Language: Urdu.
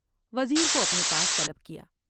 وزیر کو اپنے پاس طلب کیا ۔